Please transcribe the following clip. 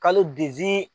Kalo